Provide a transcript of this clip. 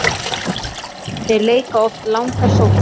Þeir leika oft langar sóknir.